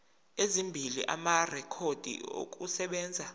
ezimbili amarekhodi okusebenza